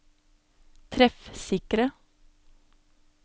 treffsikre